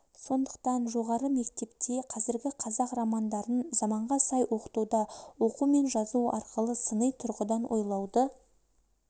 сондықтан жоғары мектепте қазіргі қазақ романдарын заманға сай оқытуда оқу мен жазу арқылы сыни тұрғыдан ойлауды